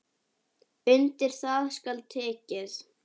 Undir það skal tekið.